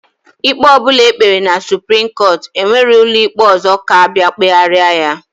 Ikpe ọbụna ekpere na supreme court enwerọ ụlọikpe ọzọ ka abia kpeheraya.